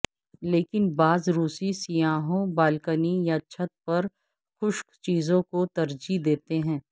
لیکن بعض روسی سیاحوں بالکنی یا چھت پر خشک چیزوں کو ترجیح دیتے ہیں